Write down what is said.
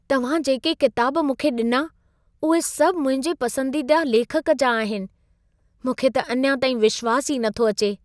तव्हां जेके किताब मूंखे ॾिना, उहे सभु मुंहिंजे पसंदीदा लेखक जा आहिनि! मूंखे त अञा ताईं विश्वासु ई नथो अचे।